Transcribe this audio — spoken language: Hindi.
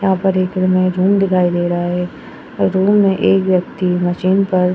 यहाँ पर एक दिखाई दे रहा है और रूम में एक व्यक्ति मशीन पर --